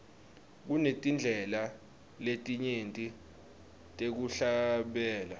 kunetindlela letinyenti tekuhlabela